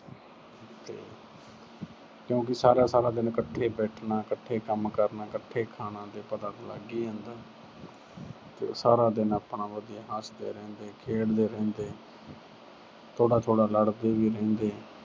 ਕਿਉਂਕਿ ਸਾਰਾ-ਸਾਰਾ ਦਿਨ ਇੱਕਠੇ ਬੈਠਣਾ, ਇੱਕਠੇ ਕੰਮ ਕਰਨਾ, ਇੱਕਠੇ ਖਾਣਾ ਤੇ ਪਤਾ ਤਾਂ ਲੱਗ ਹੀ ਜਾਂਦਾ। ਤੇ ਸਾਰਾ ਦਿਨ ਆਪਣਾ ਵਧੀਆ ਹੱਸਦੇ ਰਹਿੰਦੇ, ਖੇਡਦੇ ਰਹਿੰਦੇ। ਥੋੜਾ ਥੋੜਾ ਲੜਦੇ ਵੀ ਰਹਿੰਦੇ।